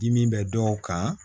Dimi bɛ dɔw kan